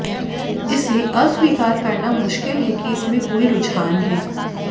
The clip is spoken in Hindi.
इसे अस्वीकार करना मुश्किल है कि इसमें कोई रूझान है